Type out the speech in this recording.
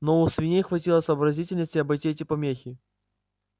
но у свиней хватило сообразительности обойти эти помехи